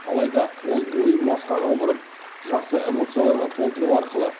алайда ол ойын басқаға бұрып жақсы эмоцияларға толтыру арқылы